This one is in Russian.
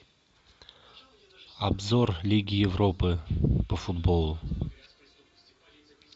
обзор лиги европы по футболу